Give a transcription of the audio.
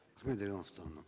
дарига нурсултановна